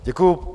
Děkuji.